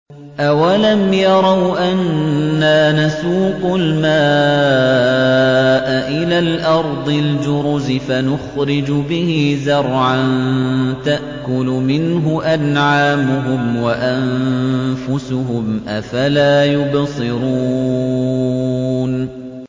أَوَلَمْ يَرَوْا أَنَّا نَسُوقُ الْمَاءَ إِلَى الْأَرْضِ الْجُرُزِ فَنُخْرِجُ بِهِ زَرْعًا تَأْكُلُ مِنْهُ أَنْعَامُهُمْ وَأَنفُسُهُمْ ۖ أَفَلَا يُبْصِرُونَ